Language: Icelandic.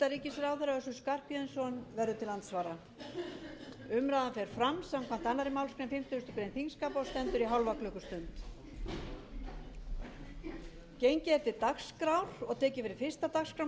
össur skarphéðinsson verður til andsvara umræðan fer fram samkvæmt annarri málsgrein fimmtugustu grein þingskapa og stendur í hálfa klukkustund